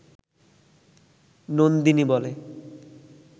নন্দিনী বলে